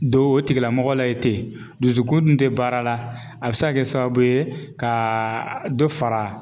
Don o tigilamɔgɔ la yen ten dusukun dun ti baara la, a bi se ka kɛ sababu ye, ka dɔ fara